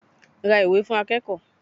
Ra ìwé fún akẹ́kọ̀ọ́.